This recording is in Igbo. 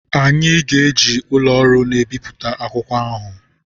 Anyị ga-eji ụlọ ọrụ na-ebipụta akwụkwọ ahụ.